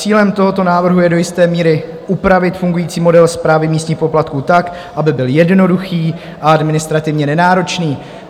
Cílem tohoto návrhu je do jisté míry upravit fungující model správy místních poplatků tak, aby byl jednoduchý a administrativně nenáročný.